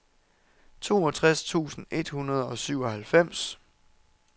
toogtres tusind et hundrede og syvoghalvfems